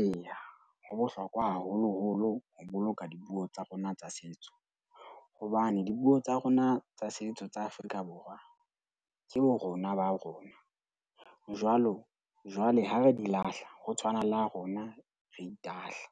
Eya, ho bohlokwa haholoholo ho boloka dipuo tsa rona tsa setso hobane dipuo tsa rona tsa setso tsa Afrika Borwa ke borona ba rona. Jwalo jwale ha re di lahla ho tshwana le ha rona re itahlela.